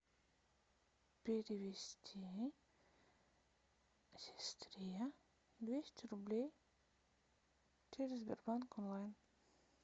перевести сестре двести рублей через сбербанк онлайн